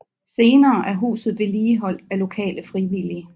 Senere er huset vedligeholdt af lokale frivillige